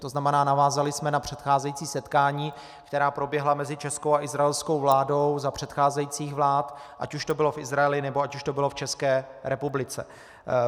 To znamená, navázali jsme na předcházející setkání, která proběhla mezi českou a izraelskou vládou za předcházejících vlád, ať už to bylo v Izraeli, nebo ať už to bylo v České republice.